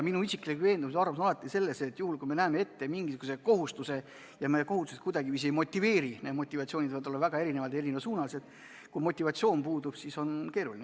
Minu isiklik veendumus ja arvamus on alati selline, et juhul kui me näeme ette mingisuguse kohustuse, aga me seda kuidagiviisi ei motiveeri, motivatsioon puudub – motivatsiooniviisid võivad olla väga erinevad ja erisuunalised –, siis on keeruline.